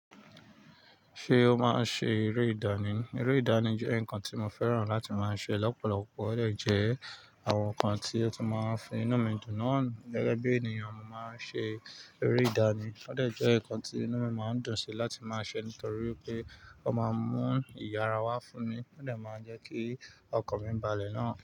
Ṣé o máa ń ṣe eré ìdánì? Eré ìdánì jẹ́ ǹkan tí mo fẹ́ràn láti máa ṣe lọ́pọ̀lọpọ̀. Ó dẹ̀ jẹ́ àwọn nǹkan tí ó tún máa ń fi inu mi dùn náà. Gẹ́gẹ́ bí ènìyàn, mo máa ń ṣe eré ìdánì. Ó dẹ̀ jẹ́ nǹkan tí inu mi máa ń dùn sí láti máa ṣe nítorí pé ó máa ń mú ìyára wá fún mi, ó dẹ̀ máa ń jẹ́ kí ọkàn mi balẹ̀ náà.